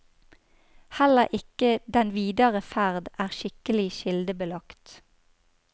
Heller ikke den videre ferd er skikkelig kildebelagt.